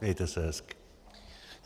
Mějte se hezky.